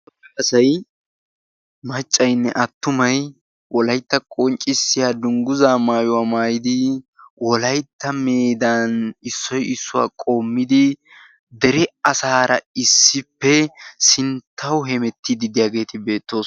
Asaay maccaynne attumay wolaytta qonccissiya dungguzza maayuwa maayidi wolytta meeddan issoy issuwa qommidi dere asaara issippe sinttawu hemettidi de'iyageti betosona.